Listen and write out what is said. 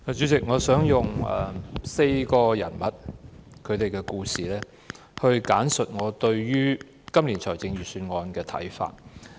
主席，我想用4個人物的故事簡述我對今年財政預算案的看法。